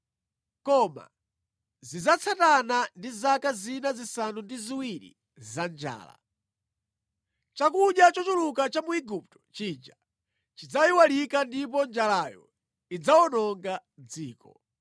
koma zidzatsatana ndi zaka zina zisanu ndi ziwiri za njala. Chakudya chochuluka cha mu Igupto chija chidzayiwalika ndipo njalayo idzawononga dziko.